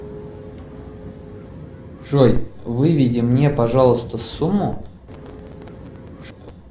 джой выведи мне пожалуйста сумму